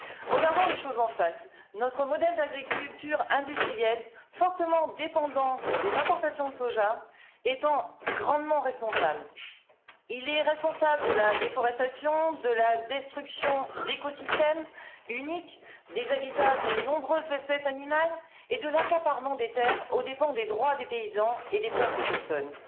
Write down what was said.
Regardons les choses en face notre modèle d'agriculture industrielle fortement dépendant des importations de soja étant grandement responsable il est responsable de la déforestation, de la destruction d'écosystèmes uniques et des habitats de nombreuses espèces animales, et de l'accaparement des terres aux dépens des droits des paysans et des peuples autochtones.